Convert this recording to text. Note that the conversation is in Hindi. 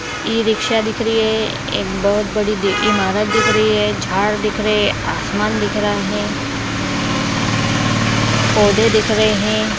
इ-रिक्शा दिख रही है एक बहुत बड़ी ईमारत दिख रही है झाड़ दिख रहे हैंआसमान दिख रहा है पौधे दिख रहे हैं।